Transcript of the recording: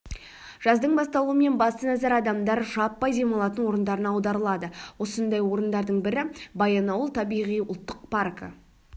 жаздың басталуымен басты назар адамдар жаппай демалатын орындарына аударылады осындай орындардың бірі баянауыл табиғи ұлттық паркі